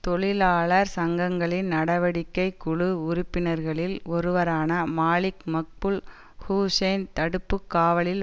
தொழிலாளர் சங்கங்களின் நடவடிக்கைக்குழு உறுப்பினர்களில் ஒருவரான மாலிக் மக்புல் ஹூசேன் தடுப்பு காவலில்